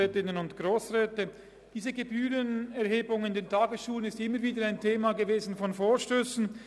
Die Gebührenerhebung in den Tagesschulen war immer wieder ein Thema von Vorstössen.